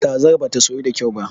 Kazar bata soyu da kyau ba.